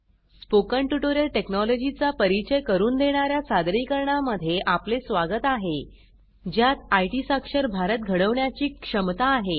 spoken tutorial technology चा परिचय करून देणार्या सादरीकरणा मध्ये आपले स्वागत आहे ज्यात आयटी साक्षर भारत घडवण्याची क्षमता आहे